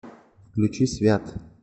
включи свят